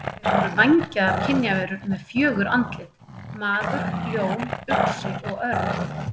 Þeir voru vængjaðar kynjaverur með fjögur andlit: maður, ljón, uxi og örn.